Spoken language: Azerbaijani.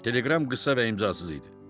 Teleqram qısa və imzasız idi.